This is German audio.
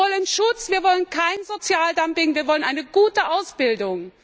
Wir wollen Schutz, wir wollen kein Sozialdumping, wir wollen eine gute Ausbildung!